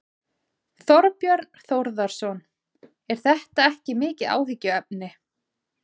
Þorbjörn Þórðarson: Er þetta ekki mikið áhyggjuefni?